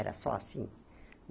Era só assim.